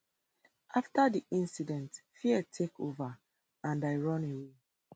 afta di incident fear take over and i run away